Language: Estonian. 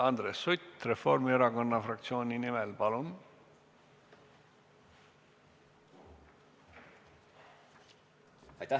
Andres Sutt Reformierakonna fraktsiooni nimel, palun!